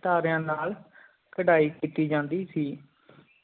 ਸਿਤਾਰਿਆਂ ਨਾਲ ਕਰੇਇ ਕੀਤੀ ਜਾਂਦੀ ਸੀ